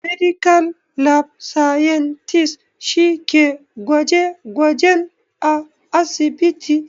Medical lab scientist' shi ke gwaje gwajen a asibiti